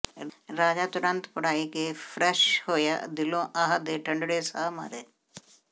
ਰਾਂਝਾ ਤੁਰਤ ਪੜ੍ਹਾਇਕੇ ਫਰਸ਼ ਹੋਇਆ ਦਿਲੋਂ ਆਹ ਦੇ ਠੰਡੜੇ ਸਾਹ ਮਾਰੇ